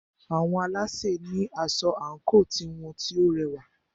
Àwọn alásè ní asọ àńkò tiwọn tí o rẹwà.